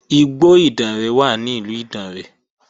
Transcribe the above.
Igbó Ìdànrè wà ní ìlú Ìdànrè